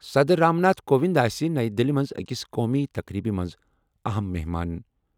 صدر رام ناتھ کووِند آسہِ نَیہِ دِلہِ منٛز أکِس قومی تقریٖبہِ منٛز اَہَم مہمان ۔